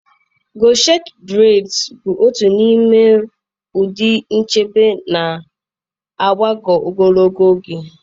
Gọchet breds bụ otu n'ime ụdị nchebe na-agbagọ ogologo oge.